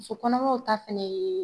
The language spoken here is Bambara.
Musokɔnɔmaw ta fɛnɛ ye.